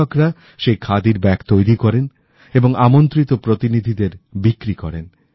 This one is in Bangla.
কৃষকরা সেই খাদির ব্যাগ তৈরি করেন এবং আমণ্ত্রিত প্রতিনিধিদের বিক্রি করেন